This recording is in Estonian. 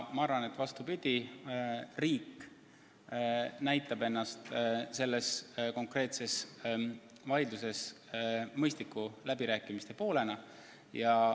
Ma arvan, et vastupidi, riik näitab ennast selles konkreetses vaidluses mõistliku läbirääkimiste poolena.